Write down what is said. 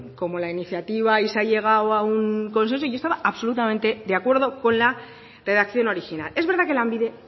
como la iniciativa y se ha llegado a un consenso yo estaba absolutamente de acuerdo con la redacción original es verdad que lanbide